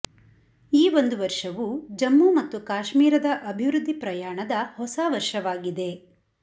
ಈ ಒಂದು ವರ್ಷವು ಜಮ್ಮು ಮತ್ತು ಕಾಶ್ಮೀರದ ಅಭಿವೃದ್ಧಿ ಪ್ರಯಾಣದ ಹೊಸ ವರ್ಷವಾಗಿದೆ